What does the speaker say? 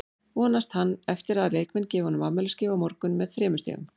Vonast hann eftir að leikmenn gefi honum afmælisgjöf á morgun með þremur stigum?